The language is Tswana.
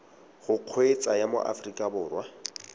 go kgweetsa ya mo aforika